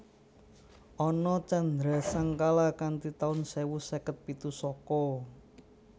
Ana candrasangkala kanthi taun sewu seket pitu Saka